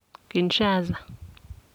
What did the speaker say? Kinshasa.